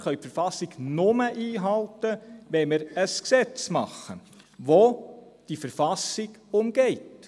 wir können die Verfassung nur einhalten, wenn wir ein Gesetz machen, welches diese Verfassung umgeht.